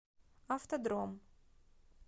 автодром